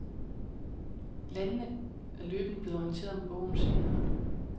Landene er løbende blevet orienteret om bogens indhold.